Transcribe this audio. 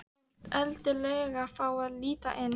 Hann vill endilega fá að líta inn.